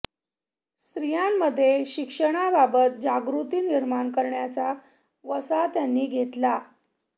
स्त्रियांमध्ये शिक्षणाबाबत जागृती निर्माण करण्याचा वसा त्यांनी घेतला